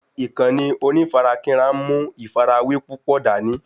Ìkànnì onífarakínra ń mú ìfàrawé púpò dání